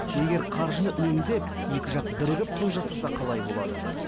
егер қаржы үнемдеп екі жақ бірігіп той жасаса қалай болады